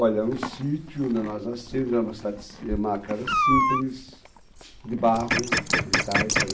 Olha, é um sítio onde nós nascemos, é uma cidade si, é casa simples, de barro, de taipa.